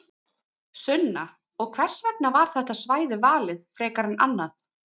Sunna: Og hvers vegna var þetta svæði valið frekar en annað?